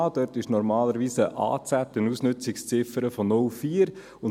Dort gilt normalerweise eine Ausnützungsziffer, eine AZ, von 0,4.